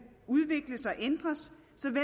udvikles og ændres